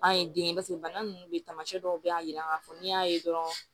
An ye den kɛ paseke bana nunnu ye tamasiyɛn dɔw be yen a jira k'a fɔ n'i y'a ye dɔrɔn